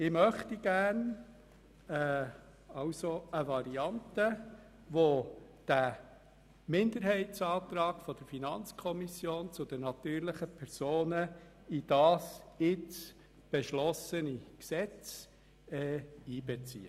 Ich möchte gerne eine Variante, welche diesen Minderheitsantrag der FiKo zur Besteuerung der natürlichen Personen in das jetzt beschlossene Gesetz einbezieht.